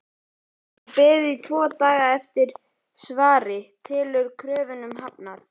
Hefur beðið tvo daga eftir svari- telur kröfunum hafnað!